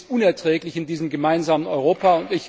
Das, finde ich, ist unerträglich in diesem gemeinsamen Europa!